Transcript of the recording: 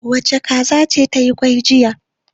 Wace kaza ce ta yi kwai jiya?